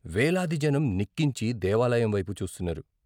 వేలాది జనం నిక్కించి దేవాలయం వైపు చూస్తున్నారు.